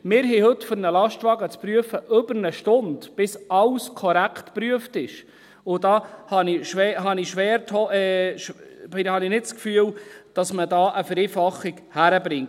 Wir brauchen heute, um einen Lastwagen zu prüfen, über eine Stunde, bis alles korrekt geprüft ist, und ich habe nicht das Gefühl, dass man da eine Vereinfachung hinkriegt.